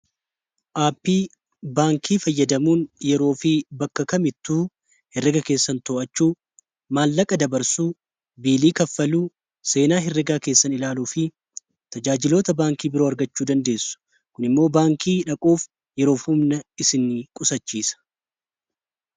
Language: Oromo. aappii baankii fayyadamuun yeroo fi bakka kamittuu hereega keessan to'achuu maallaqa dabarsuu biilii kanfaaluu seenaa hireegaa keessan ilaaluu fi tajaajiloota baankii biroo argachuu dandeessu kun immoo baankii dhaquuf yeroof humnaa isiin qusachiisa